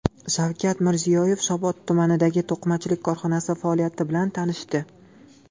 Shavkat Mirziyoyev Shovot tumanidagi to‘qimachilik korxonasi faoliyati bilan tanishdi.